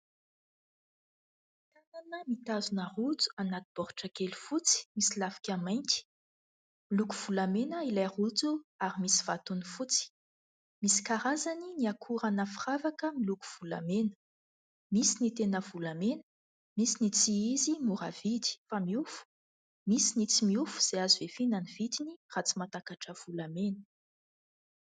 Tanana mitazona rojo anaty boritra kely fotsy misy lafika mainty. Miloko volamena ilay rojo ary misy vatony fotsy. Misy karazany ny akoran'ny firavaka miloko volamena : misy ny tena volamena ; misy ny tsy izy, mora vidy fa miofo ; misy ny tsy miofo izay azo ihafiana ny vidiny raha tsy mahatakatra volamena.